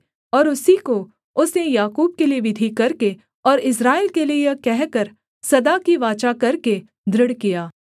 और उसी को उसने याकूब के लिये विधि करके और इस्राएल के लिये यह कहकर सदा की वाचा करके दृढ़ किया